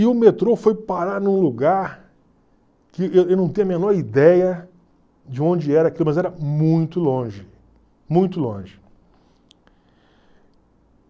E o metrô foi parar num lugar que eu eu não tenho a menor ideia de onde era aquilo, mas era muito longe, muito longe.